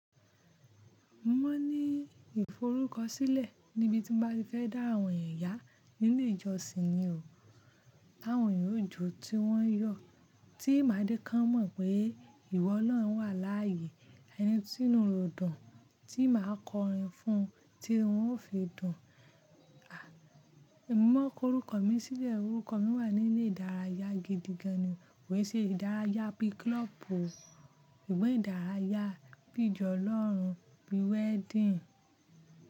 Mo ni ìforúkọsílẹ̀ níbi tí mo bá fẹ́ dá àwọn ẹ̀yà nínú ìjọsìn yi o. Àwọn yóò jó tí wọn yóò ti máa dín kàn mọ̀ pé ìwọ Ọlọ́run wà láàyè. Ẹni tí inú rẹ o dùn tí màá kọrin fún, tí wọn ó fi dùn. À, mo mọ korúkọ mi sílẹ̀. Orúkọ mi wà nílé ìdárayá gidigan ni. Kò ì ṣe ìdárayá bí klọ́ọ̀pù, òun ìdárayá bí ìjọ Ọlọ́run, bí wedding.